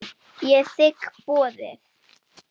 Ég þigg boðið.